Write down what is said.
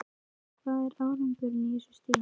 Hvað er árangur á þessu stigi?